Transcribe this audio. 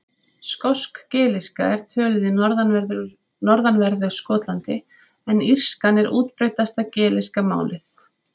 Skosk-gelíska er töluð í norðanverðu Skotlandi en írskan er útbreiddasta gelíska málið.